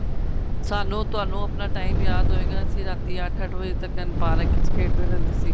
ਸਾਨੂੰ ਤੁਹਾਨੂੰ ਆਪਣਾ time ਯਾਦ ਹੋਏ ਗਾ ਅਸੀਂ ਰਾਤੀ ਅੱਠ ਅੱਠ ਵਜੇ ਤੱਕ ਪਾਰਕ ਵਿੱਚ ਖੇਡਦੇ ਰਹਿੰਦੇ ਸੀ